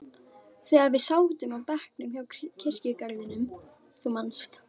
þegar við sátum á bekknum hjá kirkjugarðinum, þú manst.